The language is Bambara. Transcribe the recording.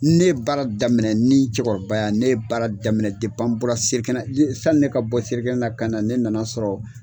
Ne baara daminɛ ni cɛkɔrɔba ya, ne ye baara daminɛ an bɔra sali kɛnɛ. Sani ne ka bɔ selikɛnɛ na ka na ,ne nana sɔrɔ